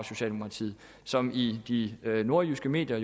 socialdemokratiet som i de nordjyske medier